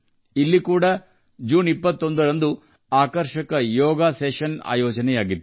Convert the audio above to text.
ಇಲ್ಲಿಯೂ ಜೂನ್ 21ರಂದು ವೈಭವದ ಯೋಗಾಭ್ಯಾಸ ಆಯೋಜಿಸಲಾಗಿತ್ತು